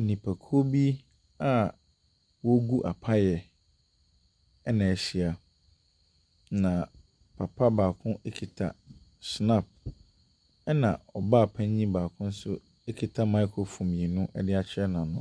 Nnipakuo bi a wɔregu apaeɛ na ahyia, na papa baako kita schnapps na ɔbaapanin baako nso kita microphone mmienu de ahyɛ n’ano.